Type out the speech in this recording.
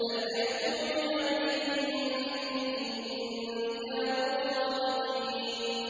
فَلْيَأْتُوا بِحَدِيثٍ مِّثْلِهِ إِن كَانُوا صَادِقِينَ